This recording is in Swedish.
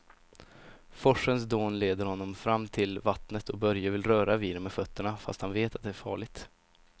Forsens dån leder honom fram till vattnet och Börje vill röra vid det med fötterna, fast han vet att det är farligt.